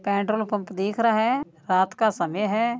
Petrol pump दीख रहा है रात का समय है।